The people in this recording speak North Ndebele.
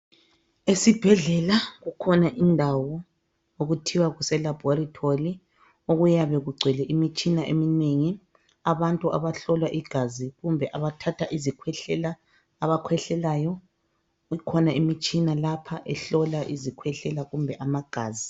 Esibhedlela kukhona indawo okuthiwa kuse laboratory okuyabe kugcwele imtshina eminengi. Abantu abahlolwa igazi kumbe abathatha izikhwehlela abakhwehlelayo, kukhona imitshina ehlola izikhwehlela kumbe amagazi.